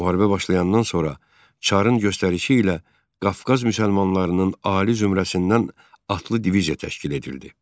Müharibə başlayandan sonra çarın göstərişi ilə Qafqaz müsəlmanlarının ali zümrəsindən atlı diviziya təşkil edildi.